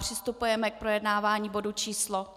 Přistupujeme k projednávání bodu číslo